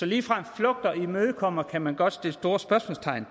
ligefrem flugter og imødekommer høringssvaret kan man godt sætte store spørgsmålstegn